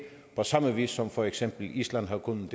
på samme vis som for eksempel island har kunnet